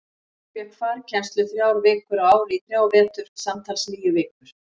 Hún fékk farkennslu þrjár vikur á ári í þrjá vetur, samtals níu vikur.